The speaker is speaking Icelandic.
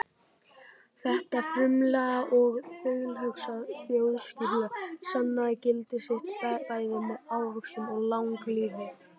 Þetta frumlega og þaulhugsaða þjóðskipulag sannaði gildi sitt bæði með ávöxtum og langlífi.